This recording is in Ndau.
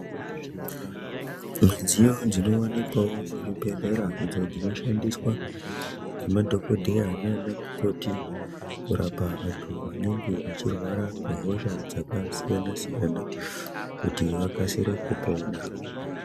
Midzyo dzinoonekwawo muzvibhedhlera idzo dzinoshandiswa nemadhokodheya nanamukoti kurapa antu anenge achirwaa nehosha dzakasiyana siyana kuti vakasire kupona.